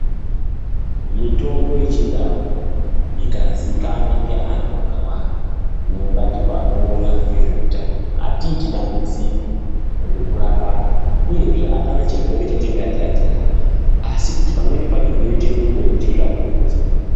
Mitombo yechindau ikaziikanwa ngeantu vakawanda nemabandiko anowona ngezvehutano, hatiiti dambudziko rekurapa anhu uyezve ,hapana chirwere chatingati hatirapi, asi kuti pamweni pacho tinoite nungo yekuitesvakurudzo.